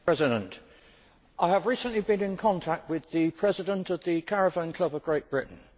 Mr President, I have recently been in contact with the President of the Caravan Club of Great Britain.